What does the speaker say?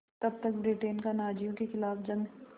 तब तक ब्रिटेन का नाज़ियों के ख़िलाफ़ जंग